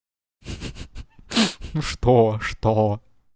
ха-ха ну что что